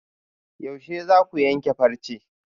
Yaushe zaku yanke farce?